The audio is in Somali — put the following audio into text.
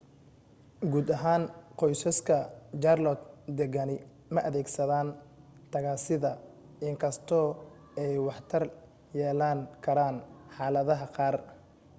guud ahaan qoysaska jaarloot degani ma adeegsadaaan tagaasida in kastoo ay waxtar yeelan karaan xaaladaha qaar